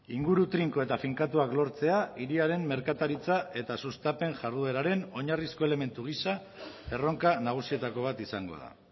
inguru trinko eta finkatuak lortzea hiriaren merkataritza eta sustapen jardueraren oinarrizko elementu gisa erronka nagusietako bat izango da